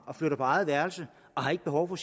og flytter på eget værelse og har ikke behov for